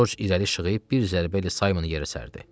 Corc irəli şığıyıb bir zərbəylə Saymonu yerə sərdi.